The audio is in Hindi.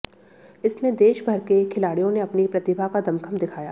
इसमें देश भर के खिलाडि़यों ने अपनी प्रतिभा का दमखम दिखाया